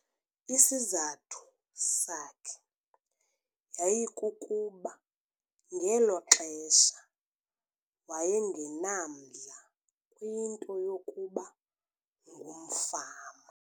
Isizathu sakhe yayikukuba ngelo xesha waye ngenamdla kwinto yokuba ngumfama.